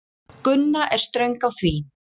Gunna er ströng á því.